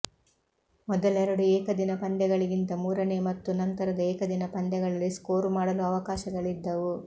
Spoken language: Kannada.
ಮೊದಲೆರಡು ಏಕದಿನ ಪಂದ್ಯಗಳಿಗಿಂತ ಮೂರನೇ ಮತ್ತು ನಂತರದ ಏಕದಿನ ಪಂದ್ಯಗಳಲ್ಲಿ ಸ್ಕೋರ್ ಮಾಡಲು ಅವಕಾಶಗಳಿದ್ದವು